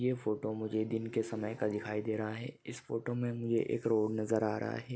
ये फोटो मुझे दिन के समय का दिखाई दे रहा है इस फोटो मे एक रोड नजर आ रहा है।